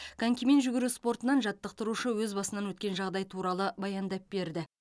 конькимен жүгіру спортынан жаттықтырушы өз басынан өткен жағдай туралы баяндап берді